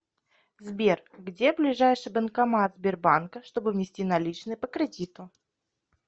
сбер где ближайший банкомат сбербанка чтобы внести наличные по кредиту